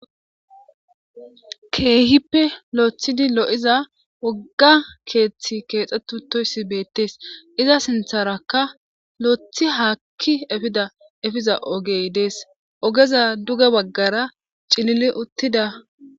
Keehippe lo'ethid lo'iza woga kethi kexet utoys betes, iza sintharaka lo'eth haki efiza ogey Des, ogezappe duge bagara cilil utida ....